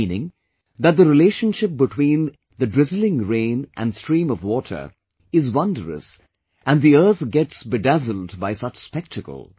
Meaning that the relationship between drizzling rain and stream of water is wondrous and earth gets bedazzled by such spectacle